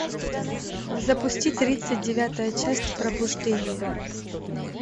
запусти тридцать девятая часть пробуждение